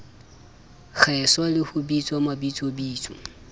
kgeswa le ho bitswa mabitsobitso